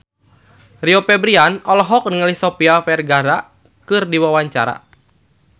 Rio Febrian olohok ningali Sofia Vergara keur diwawancara